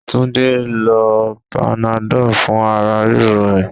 Túndé lo panadol fún ara ríro ẹ.